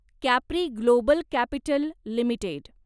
Capri global capital limited